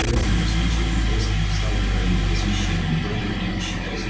в противном случае ты просто не стал бы королём по священному праву и не считался бы